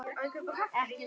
Einn hlær hér, annar þar.